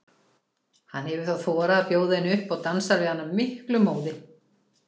Hann hefur þá þorað að bjóða henni upp og dansar við hana af miklum móði.